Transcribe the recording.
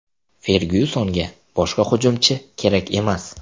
Fergyusonga boshqa hujumchi kerak emas.